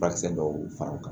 Furakisɛ dɔw fara u kan